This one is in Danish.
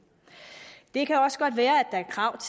det kan også godt være at der er krav